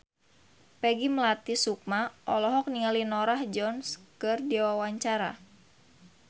Peggy Melati Sukma olohok ningali Norah Jones keur diwawancara